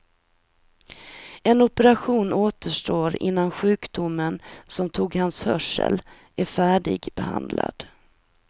En operation återstår innan sjukdomen som tog hans hörsel är färdigbehandlad.